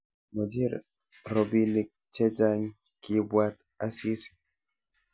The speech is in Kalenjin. Mochei robinik chechang, kiibwat Asisi